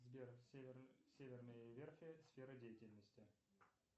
сбер северные верфи сфера деятельности